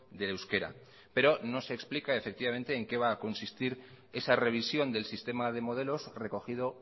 de euskera pero no se explica en qué va a consistir esa revisión del sistema de modelos recogido